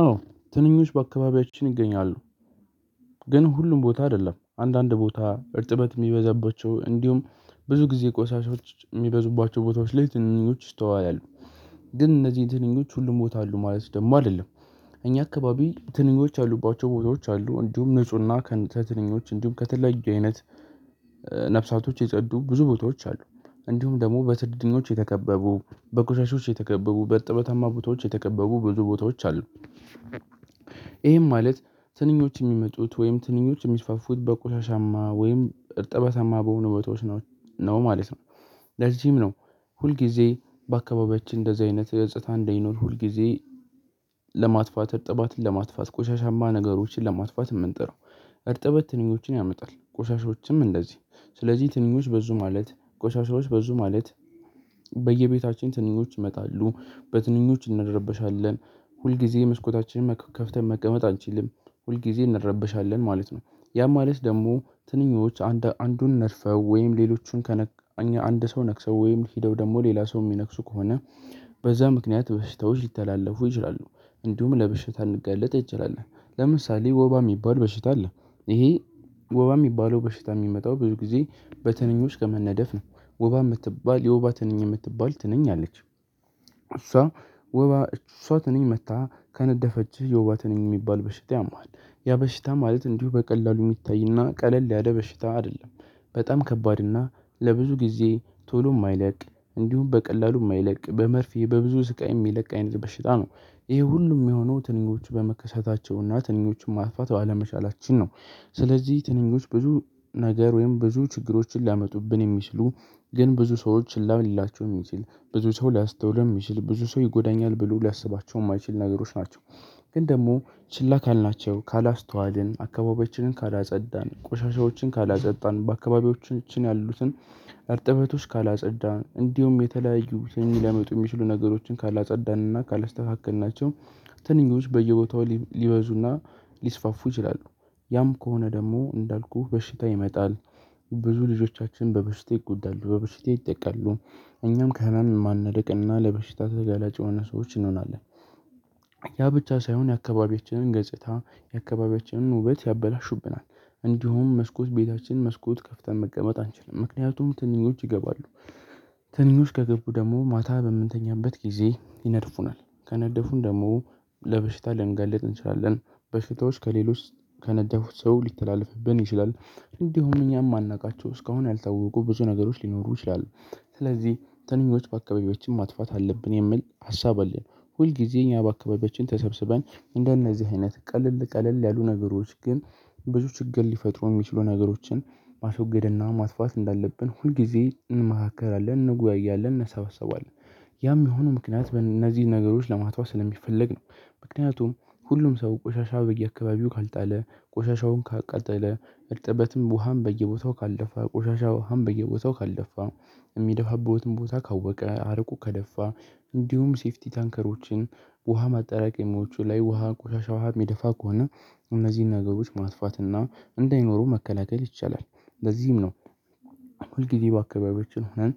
አዎ ትንኞች በአካባቢያችን ይገኛሉ ግን ሁሉም ቦታ አይደለም አንዳንድ ቦታ እርጥበት ሚበዛባቸው እንዲሁም ብዙ ጊዜ ቆሻሾች ሚበዙባቸው ቦታዎች ላይ ትንኞች ይስተዋላሉ። ግን እነዚህን ትንኞች ሁሉም ቦታ አሉ ማለት ደግሞ አይደለም። እኛ አካባቢ ትንኞች ያሉባቸው ቦታዎች አሉ እንዲሁም ንፁህና ከንተ ትንኞች እንዲሁም ከትለያዩ አይነት ነፍሳቶች የጸዱ ብዙ ቦታዎች አሉ። እንዲሁም ደግሞ በትንኞች የተከበቡ በቁሻሾች የተከበቡ በእርጠበታማ ቦታዎች የተከበቡ ብዙ ቦታዎች አሉ። ይሄም ማለት ትንኞች የሚመጡት ወይም ትንኞች የሚስፋፉት በቆሻሻማ ወይም እርጥበታማ በሆኑ ቦቶዎች ነው ማለት ነው። ለዚህም ነው ሁልጊዜ በአካባቢያችን እንደዚህ አይነት ገጽታ እንዳይኖር ሁልጊዜ ለማጥፋት እርጥበትን ለማጥፋት ቆሻሻማ ነገሮችን ለማጥፋት ምንጥረው። እርጥበት ትንኞችን ያመጣል ቆሻሻዎችም እንደዚህ ስለዚህ ትንኞች በዙ ማለት ቆሻሻዎች በዙ ማለት በየቤታችን ትንኞች ይመጣሉ በትንኞች እንረበሻለን። ሁልጊዜ መስኮታችንን ከፍተን መቀመጥ አንችልም ሁልጊዜ እንረበሻለን ማለት ነው። ያ ማለት ደግሞ ትንኞች አንዱን ነድፈው ወይም ሌሎቹን ከነ አንድ ሰው ነክሰው ወይም ሄደው ደግሞ ሌላ ሰው ሚነክሱ ከሆነ በዛ ምክንያት በሽታወች ሊተላለፉ ይችላሉ። እንዲሁም ለበሽታ ልንጋለጥ እንችላለን ለምሳሌ ወባ ሚባል በሽታ አለ። ይሄ ወባ ሚባለው በሽታ ሚመጣው ብዙ ጊዜ በትንኞች ከመነደፍ ነው። ወባ ምትባል የወባ ትንኝ የምትባል ትንኝ አለች። እሷ ወባ እሷ ትንኝ መታ ከነደፈችህ የወባ ትነኝ ሚባል በሽታ ያምሃል። ያ በሽታ ማለት እንዲሁ በቀላሉ የሚታይና ቀለል ያለ በሽታ አይደለም። በጣም ከባድ እና ለብዙ ጊዜ ቶሎ የማይለቅ እንዲሁም በቀላሉ የማይለቅ በመርፌ በብዙ ስቃይ የሚለቅ አይነት በሽታ ነው። ይሄ ሁሉም የሆነው ትንኞቹ በመከሰታቸውና ትንኞቹን ማጥፋት ባለመቻላችን ነው። ስለዚህ ትንኞች ብዙ ነገር ወይም ብዙ ችግሮችን ሊያመጡብን የሚችሉ ግን ብዙ ሰዎች ችላ ሊላቸው ሚችል ብዙ ሰው ሊያስተውለው ሚችል ብዙ ሰው ይጎዳኛል ብሎ ሊያስባቸው ማይችል ነገሮች ናቸው። ግን ደግሞ ችላ ካልናቸው ካላስተዋልን አካባቢያችንን ካላጸዳን ቆሻሻዎችን ካላጸዳን በአካባቢያችን ያሉትን እርጥበቶች ካላጸዳን እንዲሁም የተለያዩት ትንኝ ሊያመጡ የሚችሉ ነገሮችን ካላጸዳንና ካላስተካከልናቸው። ትንኞች በየቦታው ሊበዙና ሊስፋፉ ይችላሉ ያም ከሆነ ደግሞ እንዳልኩህ በሽታ ይመጣል። ብዙ ልጆቻችን በበሽታ ይጠቃሉ በበሽታ ይጠቃሉ እኛም ከህመም ማንርቅና ለበሽታ ተጋላጭ የሆኑ ሰዎች እንሆናለን። ያ ብቻ ሳይሆን የአካባቢያችንን ገጽታ የአካባቢያችንን ውበት ያበላሹብናል። እንዲሁም መስኮት ቤታችን መስኮት ከፍተን መቀመት አንችልም ምክንያቱም ትንኞች ይገባሉ። ትንኞች ከገቡ ደግሞ ማታ በምንተኛበት ጊዜ ይነድፉናል ከነደፉን ደግሞ ለበሽታ ልንጋልጥ እንችላለን። በሽታዎች ከሌሎች ከነደፉት ሰው ሊተላለፍብን ይችላል። እንዲሁም እኛም ማናውቃቸው እስካሁን ያልታወቁ ብዙ ነገሮች ሊኖሩ ይችላሉ። ስለዚህ ትንኞች በአካባቢያች ማጥፋት አለብን የሚል ሀሳብ አለን። ሁል ጊዜ እኛ በአካባቢያችን ተሰብስበን እንደነዚህ አይነት ቀለል ቀለል ያሉ ነገሮች ግን ብዙ ችግር ሊፈጥሩ ሚችሉ ነገሮችን ማስወገድና ማጥፋት እንዳለብን ሁልጊዜ እንመካከራለን እንወያያለን እንሰባሰባለን። ያም የሆነው ምክንያት እነዚህን ነገሮች ለማጥፋት ስለሚፈለግ ነው። ምክንያቱም ሁሉም ሰው ቆሻሻ በየአካባቢው ካልጣለ ቆሻሻውን ካቃጠለ እርጥበትም ውሃም በየቦታው ካልደፋ ቆሻሻ ውሃም በየቦታው ካልደፋ የሚደፋበትም ቦታ ካወቀ አርቆ ከደፋ እንዲሁም ሴፍቲ ታንከሮችን ውሃ ማጠራቀሚዎቹ ላይ ውሃ ቆሻሻ ውሃ ሚደፋ ከሆነ እነዚህን ነገሮች ማጥፋት እና እንዳይኖሩ መከላከል ይቻላል። ለዚህም ነው ሁል ጊዜ በአካባቢያችን ሆነን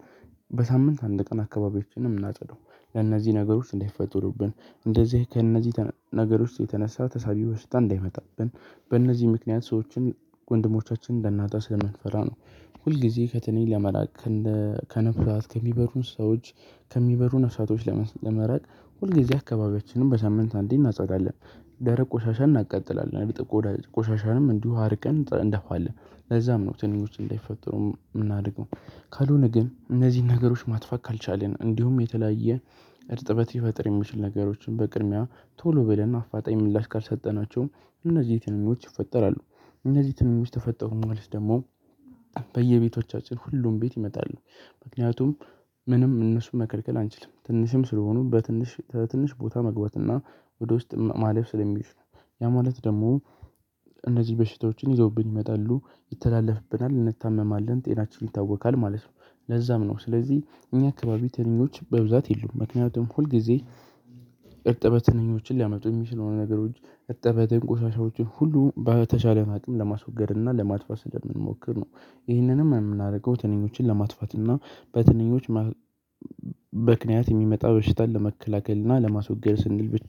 በሳምንት አንድ ቀን አካባቢያችን ምናጸዳው ለእነዚህ ነገሮች እንዳይፈጠሩብን እንደዚህ ከእነዚህ ነገሮች የተነሳ ተሳቢ በሽታ እንዳይመጣብን በእነዚህ ምክንያት ሰዎችን ወንድሞቻችንን እንዳናጣ ስለምንፈራ ነው። ሁልጊዜ ከትንኝ ለመራቅ ከነፍሳት ከሚበሩ እንስሳዎች ከሚበሩ ነፍሳቶች ለመራቅ ሁልጊዜ አካባቢያችንን በሳምንት አንዴ እናጸዳለን። ደረቅ ቆሻሻ እናቃጥላለን። ቆሻሻንም እንዲሁ አርቀን እንደፋለን ለዛም ነው ትንኞች እንዳይፈጠሩ ምናደርገው። ካልሆነ ግን እነዚህን ነገሮች ማጥፋት ካልቻልን እንዲሁም የተለያየ እርጥበት ሊፈጥር የሚችል ነገሮችን በቅድሚያ ቶሎ ብለን አፋጣኝ ምላሽ ካልሰጠናቸው እነዚህ ትንኞች ይፈጠራሉ። እነዚህ ትንኞች ተፈጠሩ ማለት ደግሞ በየቤቶቻችን ሁሉም ቤት ይመጣሉ። ምክንያቱም ምንም እነሱን መከልከል አንችልም ትንሽም ስለሆኑ በትንሽ ትንሽ ቦታ መግባት እና ወደ ውስጥ ማለፍ ስለሚችሉ ነው። ያ ማለት ደግሞ እነዚህ በሽታዎችን ይዘውብን ይመጣሉ ይተላለፍብናል እንታመማለን ጤናችን ይታወካል ማለት ነው። ለዛም ነው ስለዚህ እኛ አካባቢ ትንኞች በብዛት የሉም ምክንያቱም ሁል ጊዜ እርጥበት ትንኞችን ሊያመጡ ሚችሉ ነገሮች እርጥበትን ቆሻሻዎችን ሁሉ በተቻለን አቅም ለማስወገድ እና ለማጥፋት ስለምንሞክር ነው። ይህንንም ምናደርገው ትንኞችን ለማጥፋት እና በትንኞች ማ ምክንያት ሚመጣ በሽታን ለመከላከል እና ለማስወገድ ስንል ብቻ